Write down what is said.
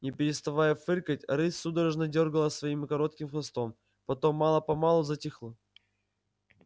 не переставая фыркать рысь судорожно дёргала своим коротким хвостом потом мало помалу затихла